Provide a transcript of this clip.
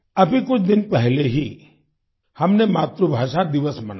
अभी कुछ दिन पहले ही हमने मातृभाषा दिवस मनाया